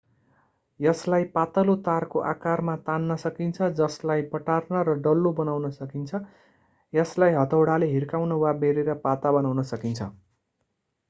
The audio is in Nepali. यसलाई पातलो तारको आकारमा तान्न सकिन्छ जसलाई बटार्न र डल्लो बनाउन सकिन्छ यसलाई हथौडाले हिर्काउन वा बेरेर पाता बनाउन सकिन्छ